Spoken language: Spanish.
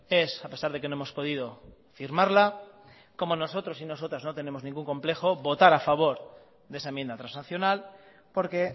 es a pesar de que no hemos podido firmarla como nosotros y nosotras no tenemos ningún complejo votar a favor de esa enmienda transaccional porque